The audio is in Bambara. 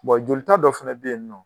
jolita dɔ fana bɛ yen nɔ